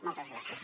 moltes gràcies